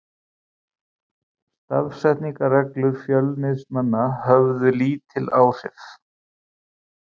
Stafsetningarreglur Fjölnismanna höfðu lítil áhrif.